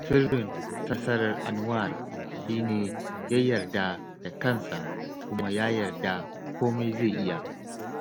Sirrin nasarar Anwar shi ne ya yarda da kansa kuma ya yarda komai zai iya